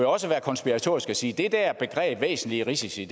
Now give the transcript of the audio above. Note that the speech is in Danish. også være konspiratorisk og sige at det der begreb væsentlige risici